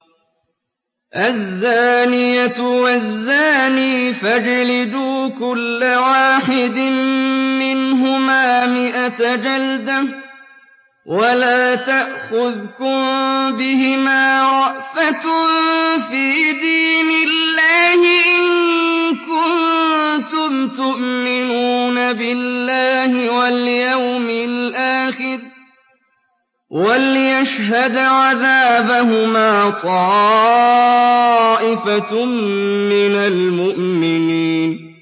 الزَّانِيَةُ وَالزَّانِي فَاجْلِدُوا كُلَّ وَاحِدٍ مِّنْهُمَا مِائَةَ جَلْدَةٍ ۖ وَلَا تَأْخُذْكُم بِهِمَا رَأْفَةٌ فِي دِينِ اللَّهِ إِن كُنتُمْ تُؤْمِنُونَ بِاللَّهِ وَالْيَوْمِ الْآخِرِ ۖ وَلْيَشْهَدْ عَذَابَهُمَا طَائِفَةٌ مِّنَ الْمُؤْمِنِينَ